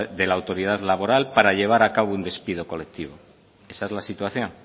de la autoridad laboral para llevar a cabo un despido colectivo esa es la situación